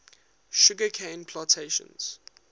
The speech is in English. sugar cane plantations